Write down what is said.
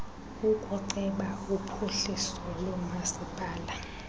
ukuceba uphuhliso lomasipala